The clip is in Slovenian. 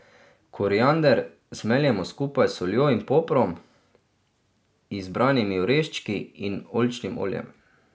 Koriander zmeljemo skupaj s soljo in poprom, izbranimi oreščki in oljčnim oljem.